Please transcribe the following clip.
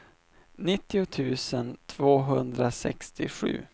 nittio tusen tvåhundrasextiosju